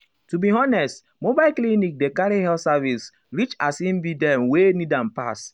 to be honest mobile clinic dey carry health service reachas e be dem wey need am pass.